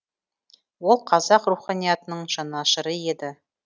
ол қазақ руханиятының жанашыры еді